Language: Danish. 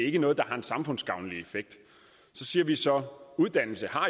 ikke noget der har en samfundsgavnlig effekt så siger vi så at uddannelse